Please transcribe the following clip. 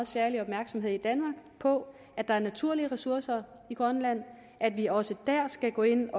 særlig opmærksomhed på at der er naturlige ressourcer i grønland og at vi også der skal gå ind